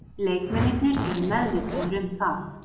Leikmennirnir eru meðvitaðir um það.